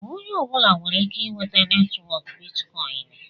Onye ọbụla nwere ike inweta netwọk bitkọin.